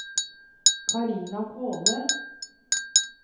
Carina Kvåle